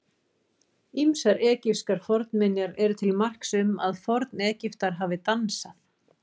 Ýmsar egypskar fornminjar eru til marks um að Forn-Egyptar hafi dansað.